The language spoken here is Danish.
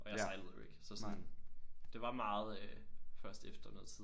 Og jeg sejlede jo ikke så sådan det var meget øh først efter noget tid